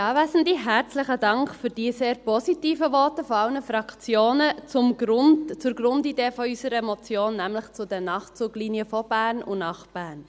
Herzlichen Dank für die sehr positiven Voten von allen Fraktionen zur Grundidee unserer Motion, nämlich zu den Nachtzuglinien von und nach Bern.